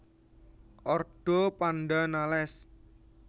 Ordo Pandanales